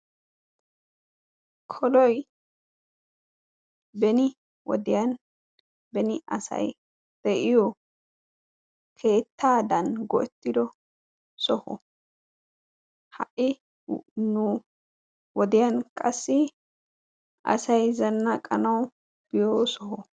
koloy beni wodiyaan beni asay de'iyo keettadan go'etiddo soho; ha'i nu wodiyaan qassi asay zanaqanaw byo soho.